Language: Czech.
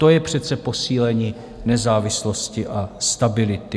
To je přece posílení nezávislosti a stability.